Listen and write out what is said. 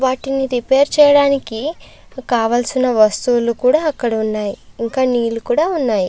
వాటిని రిపేర్ చేయడానికి కావలసిన వస్తువులు కూడా అక్కడ ఉన్నాయి ఇంకా నీళ్లు కూడా ఉన్నాయి.